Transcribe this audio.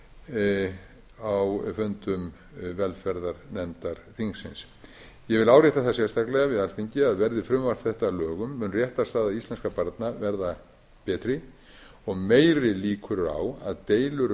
í nefndum á fundum velferðarnefndar þingsins ég vil árétta það sérstaklega við alþingi að verði frumvarp þetta að lögum mun réttarstaða íslenskra barna verða betri og meiri líkur á að deilur um forsjá og umgengni fái